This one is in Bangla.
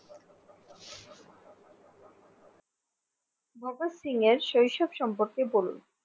ভগৎ সিং এর শৈশব সম্পর্কে বলুন